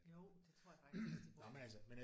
Jo det tror jeg faktisk det er det de bruger